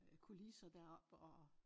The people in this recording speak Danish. Øh kulisser deroppe og